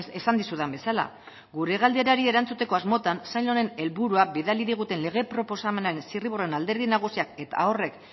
esan dizudan bezala gure galderari erantzuteko asmotan sail honen helburua bidali diguten lege proposamenaren zirriborroaren alderdi nagusiak eta horrek